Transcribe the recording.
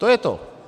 To je to.